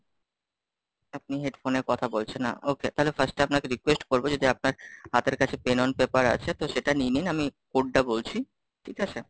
আপনি headphone এ কথা বলছেন না, okay, তাহলে First এ আপনাকে request করবো যদি আপনার হাতের কাছে Pen on paper আছে, তো সেটা নিয়ে নিন, আমি. code টা বলছি, ঠিক আছে?